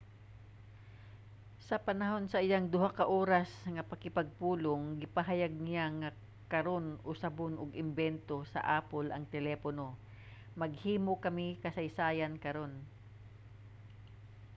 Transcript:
sa panahon sa iyang duha ka oras nga pakigpulong gipahayag niya nga karon usabon og imbento sa apple ang telepono maghimo kami kasaysayan karon